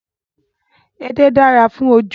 Edé dára fún ojú